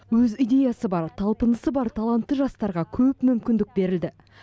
өз идеясы бар талпынысы бар талантты жастарға көп мүмкіндік берілді